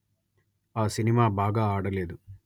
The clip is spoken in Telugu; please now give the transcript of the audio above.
ఆ సినిమా బాగా ఆడలేదు